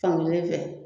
Fankelen fɛ